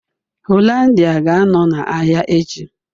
Hollandia ga-anọ na ahịa echi